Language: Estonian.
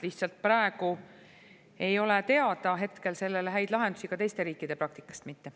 Lihtsalt praegu ei ole teada sellele häid lahendusi, ka teiste riikide praktikast mitte.